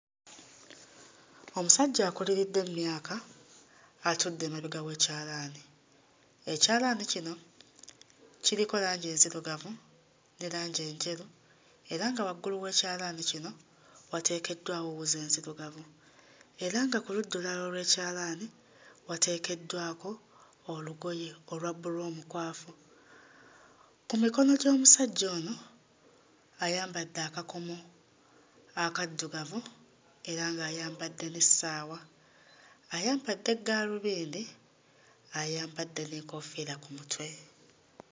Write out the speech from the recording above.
Omusajja akuliridde mmyaka atudde emabega w'ekyalaani. Ekyalaani kino kiriko langi enzirugavu ne langi enjeru era nga waggulu w'ekyalaani kino wateekeddwawo wuzi enzirugavu era nga ku ludda olulala olw'ekyalaani wateekeddwako olugoye olwa bbulu omukwafu. Ku mikono gy'omusajja ono ayambadde akakomo akaddugavu era ng'ayambadde n'essaawa, ayambadde gaalubindi ayambadde n'enkofiira ku mutwe.